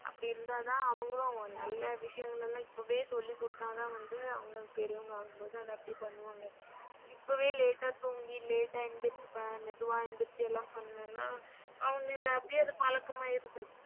அப்படி இருந்ததான் அவங்களும் நல்ல விஷயங்கள எல்லாம் இப்போவே சொல்லிக் குடுத்தாதான் வந்து அவங்க பெரியவங்களாகும் போது அத அப்படி பண்ணுவாங்க. இப்போவே late ஆ தூங்கி late ஆ எந்திரிச்சு மெதுவா எந்திரிச்சு பண்ணா அவங்களுக்கு அப்டியே அது பழக்கம் ஆயிருது.